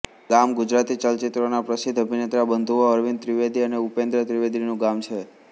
ગામ ગુજરાતી ચલચિત્રોનાં પ્રસિદ્ધ અભિનેતા બંધુઓ અરવિંદ ત્રિવેદી અને ઉપેન્દ્ર ત્રિવેદીનું ગામ છે